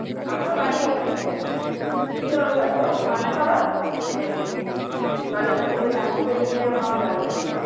আমার বাড়ি ওখা এখানেই মানে চিনতে পারবে হয়তো মান্না খাবার মানে ই টালিগঞ্জ থেকে ডানদিকে নিলে মামার বাড়ি আসে